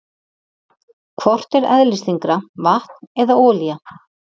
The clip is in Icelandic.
Hvort er eðlisþyngra, vatn eða olía?